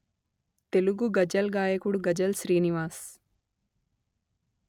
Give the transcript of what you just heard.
తెలుగు గజల్ గాయకుడు గజల్ శ్రీనివాస్